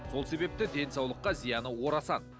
сол себепті денсаулыққа зияны орасан